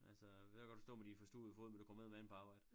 Altså ved godt du står med din forstuvede fod men du kommer eddermaneme på arbejde